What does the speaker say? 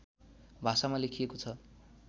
भाषामा लेखिएको छ